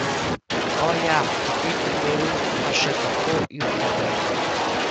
O, ja, v tem primeru sem pa še kako jutranja!